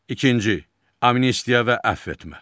İkinci, amnistiya və əfv etmə.